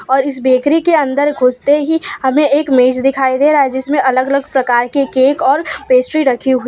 और इस बेकरी के अंदर घुसते ही हमें एक मेज दिखाई दे रहा है जिसमें अलग अलग प्रकार के केक और पेस्ट्री रखी हुई--